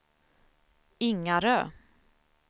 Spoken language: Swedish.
Ingarö